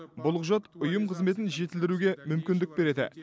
бұл құжат ұйым қызметін жетілдіруге мүмкіндік береді